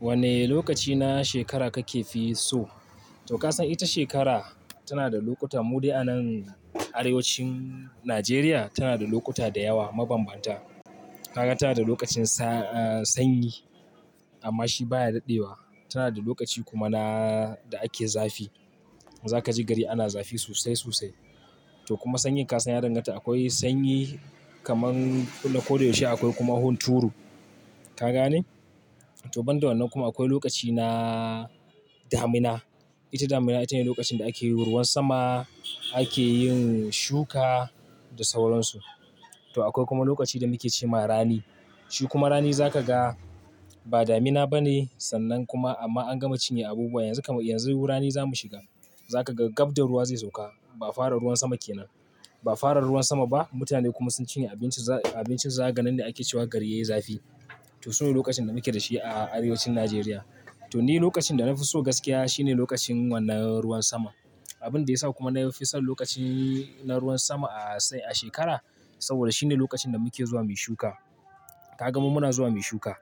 Wanne lokaci na shekara kakefi so? To ka san ita shekara tana da lokuta, mu dai a nan arewacin Najeriya tana da lokuta da yawa mabanbanta. Kaga tana da lokacin sa, sanyi amma shi baya daɗewa. Tana da lokaci kuma na da ake zafi. Za ka ji gari ana zafi sosai sosai. To kuma sanyin ka san ya danganta. Akwai sanyi kaman ko da yaushe, akwai kuma hun turu. Ka gane? To ban da wannan kuma akwai lokaci na damina. Ita damina ita ne lokacin da ake ruwan sama, ake yin shuka da sauransu. To akwai kuma lokaci da muke ce ma rani. Shi kuma rani za ka ga ba damina ba ne sannan kuma amma an gama cinye abubuwa yanzu, yanzu rani za mu shiga. Za ka ga gab da ruwa zai sauka. Ba fara ruwan sama kenan. Ba fara ruwan sama ba. Mutane kuma sun cinye abincin, abincin zaakaga nan ne ake cewa gari yayi zafi. To su ne lokacin da muke da shi a arewacin Najeriya. To ni lokacin da na fi so gaskiya shine lokacin wannan ruwan sama. Abin da ya sa kuma na fi son lokacin na ruwan sama a sai, a shekara saboda shine lokacin da muke zuwa muyi shuka. Ka ga mu muna zuwa muyi shuka.